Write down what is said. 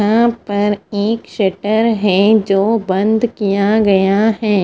यहाँ पर एक सटर है जो बंद किया गया है।